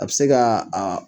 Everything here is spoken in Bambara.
A bɛ se kaa aa